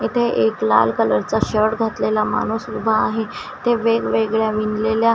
इथे एक लाल कलरचा शर्ट घातलेला माणूस उभा आहे ते वेगवेगळ्या विणलेल्या --